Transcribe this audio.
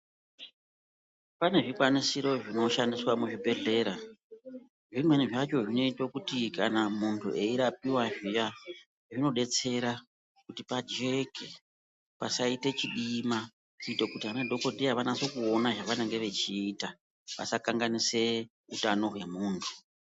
Pane zvikwanisiro zvinoshandiswa muzvibhedhlera. Zvimweni zvacho zvinoite kuti kana munthu eirapiwa zviya zvinodetsera kuti pajeke pasaite chidima kuite kuti vanadhokodheya vanasoona zvavanenge vechiita vasakanganise utano hwemunthu.